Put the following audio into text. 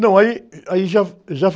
Não, aí, ãh, aí já, já a